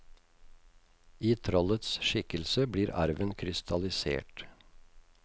I trollets skikkelse blir arven krystallisert.